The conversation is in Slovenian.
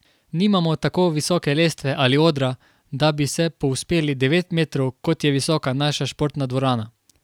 Nimamo tako visoke lestve ali odra, da bi se povzpeli devet metrov, kot je visoka naša športna dvorana.